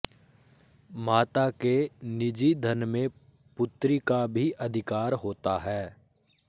माता के निजी धन में पुत्री का भी अधिकार होता है